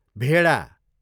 भेडा